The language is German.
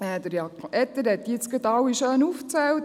Jakob Etter hat diese gerade aufgezählt.